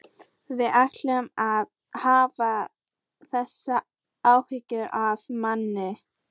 Viltu hætta að hafa þessar áhyggjur af manni!